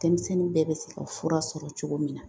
Denmisɛnnin bɛɛ bɛ se ka fura sɔrɔ cogo min na .